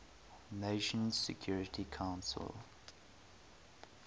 nations security council